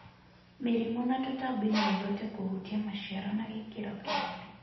Mĩrimũ na tũtambi no ihote kũhutia maciaro na gĩkĩro kĩnene.